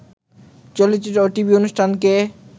চলচ্চিত্র ও টিভি অনুষ্ঠানকে